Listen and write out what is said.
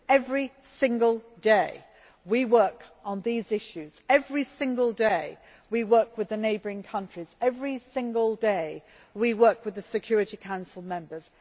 Every single day we work on these issues, every single day we work with the neighbouring countries. Every single day we work with the Security Council members.